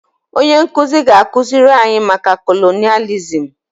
Onye nkuzi ga-akụziri anyị maka kolonịalizim